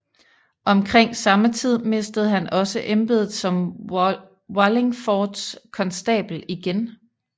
Omkring samme tid mistede han også embedet som Wallingfords konstabel igen